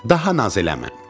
Daha naz eləmə.